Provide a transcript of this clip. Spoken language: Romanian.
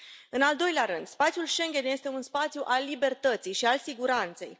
În al doilea rând, spațiul Schengen este un spațiu al libertății și al siguranței.